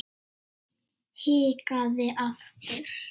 Hikaði aftur.